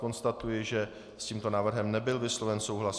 Konstatuji, že s tímto návrhem nebyl vysloven souhlas.